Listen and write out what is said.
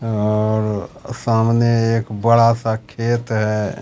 और सामने एक बड़ा सा खेत है।